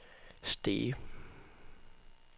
Stege